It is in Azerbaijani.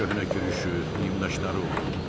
köhnə kürüşü, nimdaşları olurdu.